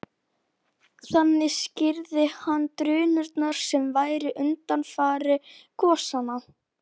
Þannig skýrði hann drunurnar sem væru undanfari gosanna.